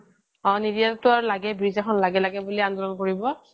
আৰু নিদিয়াক টো লগেই bridge এখন লাগে লাগে বুলি আন্দোলন কৰিব